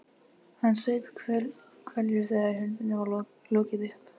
Hann saup hveljur þegar hurðinni var lokið upp.